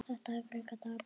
Þetta er frekar dapurt.